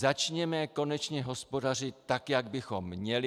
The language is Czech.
Začněme konečně hospodařit tak, jak bychom měli.